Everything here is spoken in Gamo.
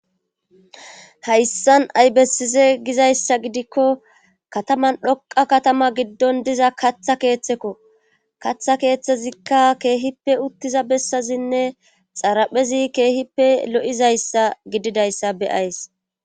hayssan ay bessise gizayssa gidikko kataman dhoqa katama giddon diza katha keeththekko katha keeththezikka keehippe uttiza bessazinne xaraphezi keehippe lo7izayssa gididayssa beyays